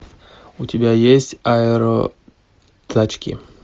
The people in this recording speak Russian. у тебя есть аэротачки